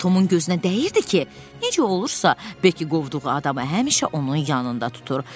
Ancaq Tomun gözünə dəyirdi ki, necə olursa, Bekki qovduğu adamı həmişə onun yanında tutur.